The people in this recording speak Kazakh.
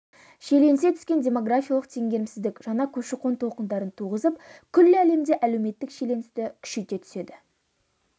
шиеленісе түскен демографиялық теңгерімсіздік жаңа көші-қон толқындарын туғызып күллі әлемде әлеуметтік шиеленісті күшейте түседі